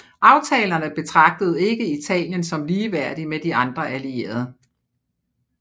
Aftalerne betragtede ikke Italien som ligeværdig med de andre allierede